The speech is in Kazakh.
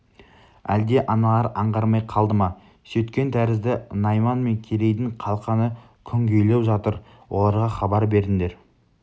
әлде аналар аңғармай қалды ма сөйткен тәрізді найман мен керейдің қалқаны күнгейлеу жатыр оларға хабар бердіңдер